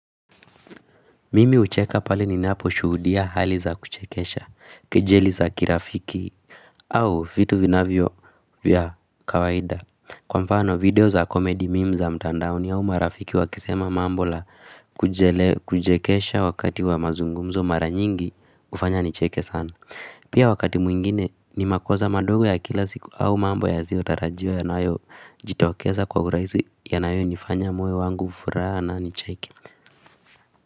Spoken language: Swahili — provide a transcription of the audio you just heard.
Mimi hucheka pale ninaposhuhudia hali za kuchekesha, kejeli za kirafiki au vitu vinavyo vya kawaida Kwa mfano video za komedi meme za mtandaoni au marafiki wakisema mambo la kuchekesha wakati wa mazungumzo mara nyingi hufanya nicheke sana Pia wakati mwingine ni makosa madogo ya kila siku au mambo yasiotarajiwa yanayojitokeza kwa urahisi yanayonifanya moyo wangu furaha na nicheke.